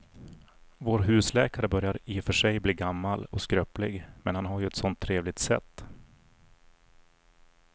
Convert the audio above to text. Vår husläkare börjar i och för sig bli gammal och skröplig, men han har ju ett sådant trevligt sätt!